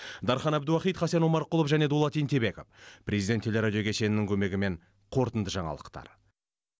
дархан әбдуахит хасен омарқұлов және дулат ентебеков президент телерадио кешенінің көмегімен қорытынды жаңалықтар